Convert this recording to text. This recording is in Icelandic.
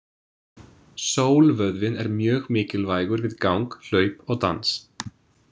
Sólvöðvinn er mjög mikilvægur við gang, hlaup og dans.